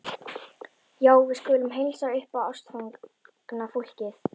Já, við skulum heilsa upp á ástfangna fólkið